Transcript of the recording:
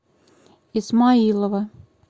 исмаилова